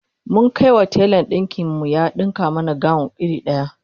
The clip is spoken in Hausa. mun Kai wa telan ɗinkin mu ya ɗinka mana gawon iri daya